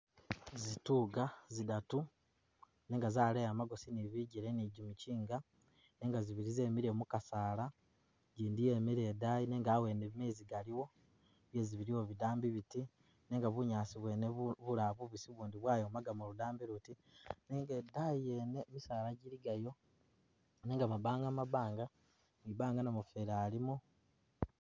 Zituuka zidaatu nenga zaleeyi magoosi ne bijele ne jimikyinga nenga zibili zemile mukasaala ijindi yemile idaani nenga awenewo mezi galiwo, bizi biliwo bidambi biiti nenga bunyaasi bwene bu bu bulayi bubisi ubundi bwayomakamo ludambi luti nenga idaani yene misaala jili gayo nenga mabanga mabanga , mwibanga namufeli alimo.